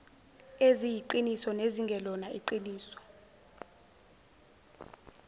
eziyiqiniso nezingelona iqiniso